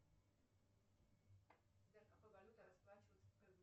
сбер какой валютой расплачиваются в